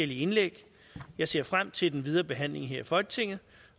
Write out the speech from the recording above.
indlæg jeg ser frem til den videre behandling her i folketinget